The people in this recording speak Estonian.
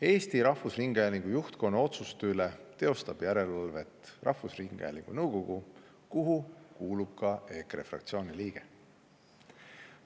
Eesti Rahvusringhäälingu juhtkonna otsuste üle teostab järelevalvet rahvusringhäälingu nõukogu, kuhu kuulub ka EKRE fraktsiooni liige.